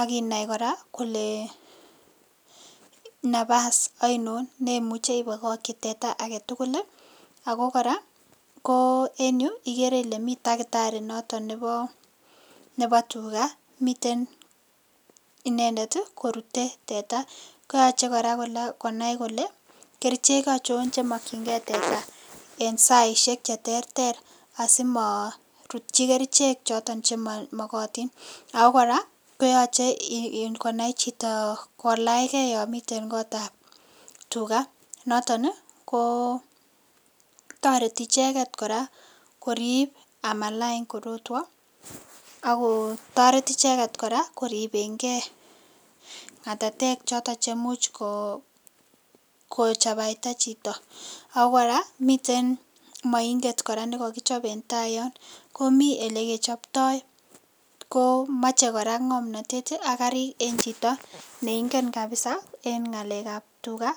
Akinai kora kole nafas aino neimuchei ibokokchin teta agetugul Ako kora en yu igere ile mi dakitari noton nebo tuga miten inendet korute teta kaache konai kora kole kerchek aicho chemakchinige teta eng saishek cheterter asima rutchin kerchek choto chemamagatin akokora koyoche kora konai chito kolachkei yo miten kot ap tuga noton kotoreti icheget kora korip amalany korotwek akotoreti icheget kora koripenke ng'atatek choto chemuchko chapaita chito .Ako kora miten mainget kora nikakichap en tai Yun komi ole kechaptai ko mochei kora ng'omnotet ak karik en chito neingen kabisa en ngalek ap tuga.